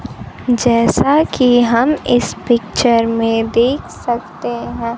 जैसा कि हम इस पिक्चर में देख सकते हैं।